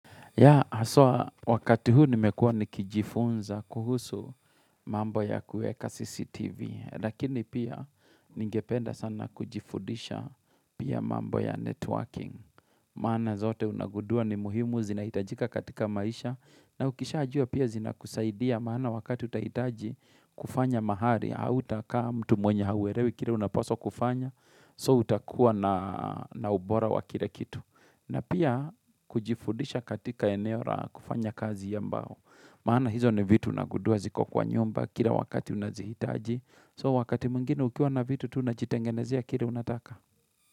Ya, haswa wakati huu nimekua nikijifunza kuhusu mambo ya kuweka CCTV. Lakini pia ningependa sana kujifudisha pia mambo ya networking. Maana zote unagudua ni muhimu zinahitajika katika maisha. Na ukishajua pia zinakusaidia maana wakati utahitaji kufanya mahali. Hautakaa mtu mwenye hauelewi kile unapaswa kufanya. So utakua na ubora wa kile kitu. Na pia kujifudisha katika eneo ra kufanya kazi ya mbao. Maana hizo ni vitu nagudua ziko kwa nyumba kira wakati unazihitaji. So wakati mwingine ukiwa na vitu unajitengenezia kire unataka.